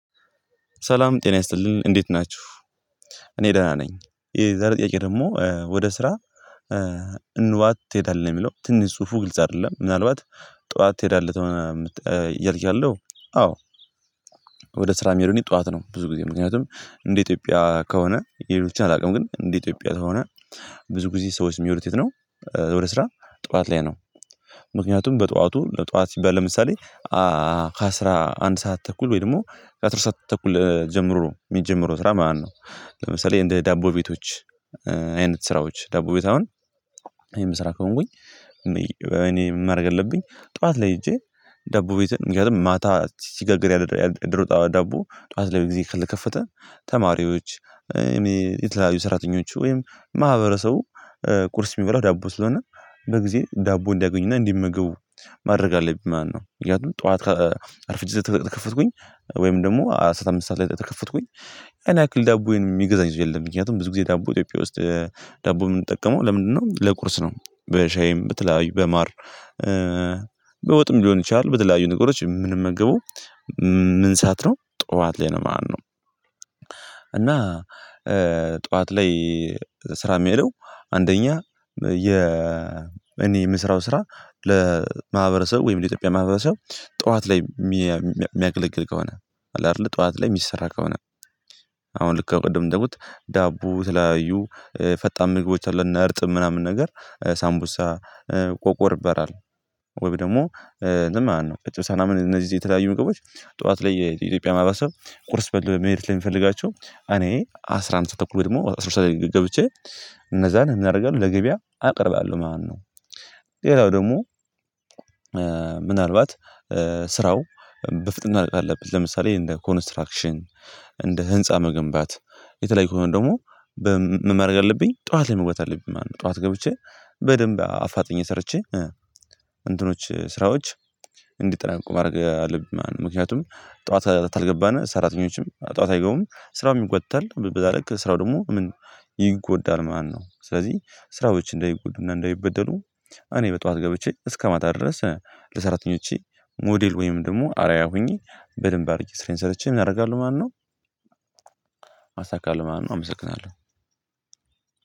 ሰላም ጤና ይስጥልን እንዴት ናችሁ። እኔ ደህና ነኝ። ይሄ የዛሬ ጥያቄ ደግሞ ወደ ስራ? ንዋት ትሄዳለህ ነው የሚለው ትንሽ ጽሁፉ ግልጽ አይደለም ምናልባት ጥዋት ትሄዳለህ እያልክ ያለው? አዎ ወደ ስራ ምሄደው ጥዋት ነው ብዙ ጊዜ ምክንያቱም እንደ ኢትዮጵያ ከሆነ የሌሎችን አላውቅም። ግን እንደ ኢትዮጵያ ከሆነ ብዙ ጊዜ ሰዎች የሚሆኑት የት ነው? ወደ ስራ ጥዋት ላይ ነው። ምክንያቱም በጥዋቱ ጥዋት ሲባል ለምሳሌ ከአሥራ አንድ ሰዓት ተኩል ወይም ደሞ ከአስር ሰዓት ተኩል ጀምሮ የሚጀመረው ስራ ማለት ነው። ለምሳሌ እንደ ዳቦ ቤቶች። አይነት ስራዎች ዳቦ ቤት አሁን የምሰራ ከሆንኩኝ። እኔ ማድረግ ያለብኝ ጥዋት ላይ ሄጄ ዳቦ ቤት ምክንያቱም ማታ ሲጋግር ያደረው ዳቦ ጥዋት ላይ በግዜ ካልተከፈተ። ተማሪዎች የተለያዩ ሰራተኞች ወይም ማህበረሰቡ ቁርስ ሚበላው ዳቦ ስለ ሆነ በግዜ ዳቦ እንዲያገኙ እና እንዲመገቡ ማድረግ ኣለብኝ ማለት ነው። ምክንያቱም ጥዋት ኣርፍጄ ከከፈትኩኝ ወይ ደሞ ኣስር ኣምስት ሰዓት ላይ ከከፈትኩኝ ያን ያህል ዳቦ ሚገዛኝ የለም። ምክንያቱም ብዙ ግዜ ዳቦ በ ኢትዮጽያ ውስጥ ዳቦ ምንጠቀመው ለምንድነው ለቁርስ ነው በሻይም በተለያዩ በማር በወጥም ሊሆን ይችላል በተለያዩ ነገሮች የምንመገበው። ምን ሰዓት ነው ጥዋት ላይ ነው ማለት ነው። እና ጥዋት ላይ ስራ የሚሄደው አንደኛ የ እኔ የምስራው ስራ ለማህበረሰብ ወይም ለኢትዮጵያ ማህበረሰብ ጥዋት ላይ የሚያገለግል ከሆነ ኣለ አይደለ ጥዋት ላይ የሚሰራ ከሆነ። አሁን ልክ ከቅድም ደግሞ ዳቦ የተላያዩ ፈጣን ምግቦች አሉ እነ እርጥብ ምናምን ነገር ሳምቡሳ ቆቆርበራል ወይም ደሞ ምን ማለት ነው እጨ ሰላምን እነዚህ የተለያዩ ምግቦች። ጥዋት ላይ የኢትዮጵያ ማህበረሰብ ቁርስ በልቶ ለመሄድ ሰለ ሚፈልጋቸው እኔ አስራ አንድ ተኩል ደግሞ አስራ ሁለት ሰዓት ላይ ገብቼ እነዛን ምን እናረጋለን ለገበያ አቀርባለሁ ማለት ነው። ሌላው ደግሞ ምናልባት ስራው በፍጥነት ማለቅ አለበት። ለምሳሌ እንደ ኮንስትራክሽን እንደ ህንፃ መገንባት የተለየ ከሆነ ደግሞ ምን ማረግ ኣለብኝ አለብኝ ጥዋት ላይ መግባት አለብኝ ማለት ነው። ጥዋት ገብቼ በደንብ አፋጥኜ ሰርቼ እንትኖች ስራዎች እንዲጠናቀቁ ማረግ አለብን ማለት ነው። ምክንያቱም ጥዋት ካልገባን ሰራተኞችም ጥዋት አይገቡም ስራውም የጎተታል በዛ ልክ ስራው ደግሞ ምን ይጎዳል ማለት ነው። ስለዚህ ስራዎች እንደይጎዱና እንደይበደሉ እኔ በጥዋት ገብቼ እስከማታ ድረስ ለሰራተኞቼ ሞዴል ወይም ደሞ አርአያ ሆኜ በድንብ አድርጌ ስራዬን ሰርቼ ምን አደርጋለሁ ማለት ነው። አሳካለሁ ማለት ነው። አመሰግናለው።